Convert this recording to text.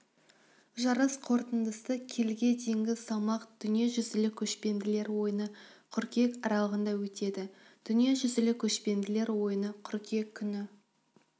жарыс қорытындысы келіге дейінгі салмақ дүниежүзілік көшпенділер ойыны қыркүйек аралығында өтеді дүниежүзілік көшпенділер ойыны қыркүйек күні